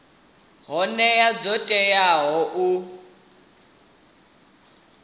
hoea dzo teaho dza u